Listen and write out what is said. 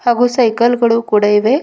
ಹಾಗು ಸೈಕಲ್ ಗಳು ಕೂಡ ಇವೆ.